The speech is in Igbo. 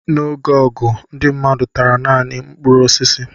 N'oge ọgụ, ndị mmadụ tara naanị mkpụrụ osisi.